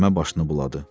Məmmə başını buladı.